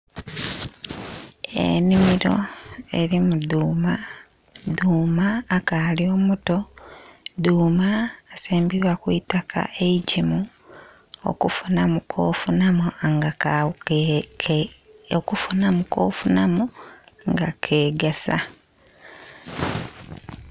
Ennhimiro elimu dhuuma, dhuuma akaali omuto. Dhuuma asimbibwa ku itaka eigimu okufunhamu kofunhamu nga ka...okufunhamu kofunhamu nga ke kegasa